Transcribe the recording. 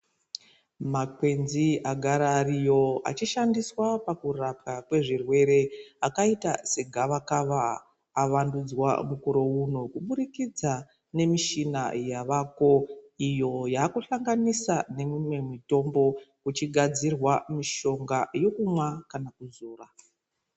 Makwenzi agara ariyo achishandiswa kurapwa kwezvirwere akaita segavakava avandidzwa mukore uno kubudikidza nemichina yavako iyo yechihlanginiswa nemimwe mutombo kuchigadzirwa mishonga yekunwa kana kuzora.